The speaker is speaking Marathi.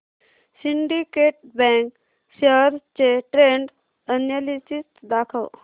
सिंडीकेट बँक शेअर्स चे ट्रेंड अनॅलिसिस दाखव